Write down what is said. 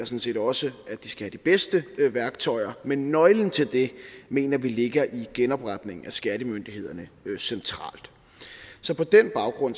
set også at de skal have de bedste værktøjer men nøglen til det mener vi ligger i genopretningen af skattemyndighederne centralt så på den baggrund